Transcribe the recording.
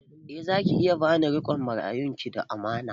Eh za ki iya ba ni riƙon marayun ki da amana